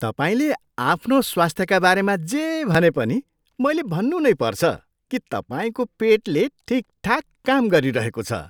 तपाईँले आफ्नो स्वास्थ्यका बारेमा जे भने पनि मैले भन्नु नै पर्छ कि तपाईँको पेटले ठिकठाक काम गरिरहेको छ।